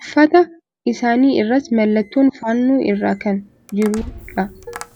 Uffata isaanii irras mallattoon fannoo irra kan jiruu dha.